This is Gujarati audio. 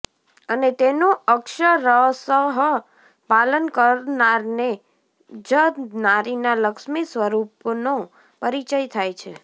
અને તેનું અક્ષરસઃ પાલન કરનારને જ નારીના લક્ષ્મી સ્વરૂપનો પરિચય થાય છે